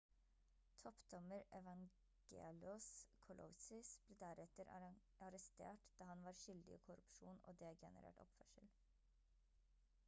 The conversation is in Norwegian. toppdommer evangelos kalousis ble deretter arrestert da han var skyldig i korrupsjon og degenerert oppførsel